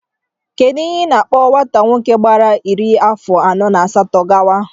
Kedụ ihe a na-akpọ nwata nwoke gbara iri afọ na asatọ gawa?